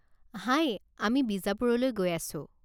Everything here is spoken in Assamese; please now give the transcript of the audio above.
হাই, আমি বিজাপুৰলৈ গৈ আছো।